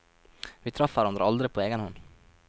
Vi traff hverandre aldri på egen hånd.